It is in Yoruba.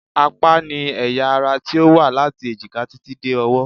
Apá ni ẹ̀yà ara tí ó wá láti èjìká títí dé ọwọ́